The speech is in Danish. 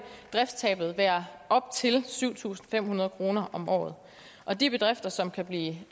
driftstabet være op til syv tusind fem hundrede kroner om året og de bedrifter som kan blive